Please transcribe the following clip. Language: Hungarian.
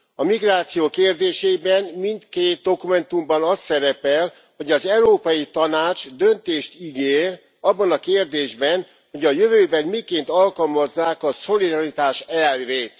A migráció kérdésében mindkét dokumentumban az szerepel, hogy az Európai Tanács döntést ígér abban a kérdésben, hogy a jövőben miként alkalmazzák a szolidaritás elvét.